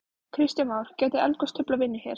Kristján Már: Gæti eldgos truflað vinnu hér?